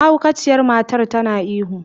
Mahaukaciyar matar tana ihu.